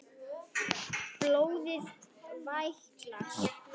Blóðið vætlar.